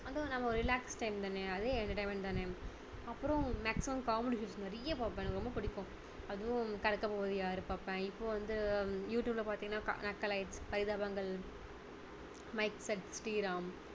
அதுவும் நம்ம relax time தானே அதுவும் entertainment தானே அப்பறம் maximum comedy shows நிறைய பார்ப்பேன் எனக்கு ரொம்ப பிடிக்கும் அதுவும் கலக்கபோவது யாரு பார்ப்பேன் இப்போ வந்து யூடுயூப்ல பார்த்தீங்கன்னா நக்கலைட்ஸ் பரிதாபங்கள் மைக் செட் ஸ்ரீராம்